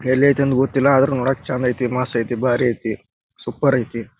ಎಲ್ಲಿ ಐತಿ ಅಂತ ಗೊತ್ತಿಲ್ಲ ಆದರೂ ನೋಡಕೆ ಚಂದ್ ಐತಿ ಮಸ್ತ್ ಐತಿ ಬಾರಿ ಐತಿ ಸೂಪರ್ ಐತಿ.